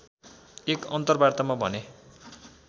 एक अन्तरवार्तामा भने